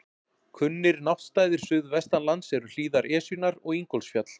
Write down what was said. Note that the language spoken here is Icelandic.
Kunnir náttstaðir suðvestan lands eru hlíðar Esjunnar og Ingólfsfjall.